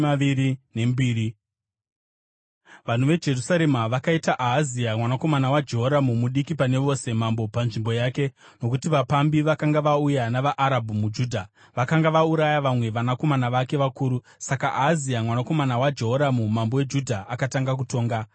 Vanhu veJerusarema vakaita Ahazia, mwanakomana waJehoramu mudiki pane vose, mambo panzvimbo yake, nokuti vapambi vakanga vauya navaArabhu muJudha, vakanga vauraya vamwe vanakomana vake vakuru. Saka Ahazia, mwanakomana waJehoramu mambo weJudha, akatanga kutonga.